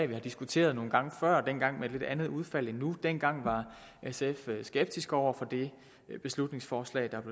vi har diskuteret nogle gange før dengang med et lidt andet udfald end nu dengang var sf skeptiske over for det beslutningsforslag der